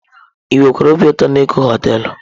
Ị wekwara obi ụtọ na Eko họtelu?